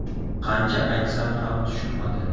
Qancha aytsam ham tushunmadi.